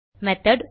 method